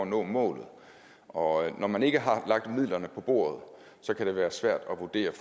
nå målet og når man ikke har lagt midlerne på bordet kan det være svært at vurdere